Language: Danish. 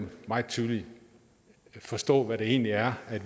meget tydeligt forstå hvad det egentlig er